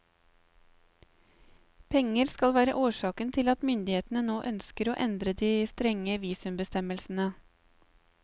Penger skal være årsaken til at myndighetene nå ønsker å endre de strenge visumbestemmelsene.